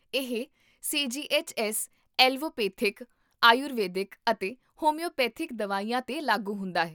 ਇਹ CGHS. Allopathic, Ayurvedic, ਅਤੇ homeopathic ਦਵਾਈਆਂ 'ਤੇ ਲਾਗੂ ਹੁੰਦਾ ਹੈ